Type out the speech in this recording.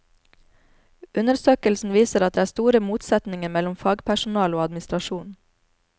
Undersøkelsen viser at det er store motsetninger mellom fagpersonalet og administrasjonen.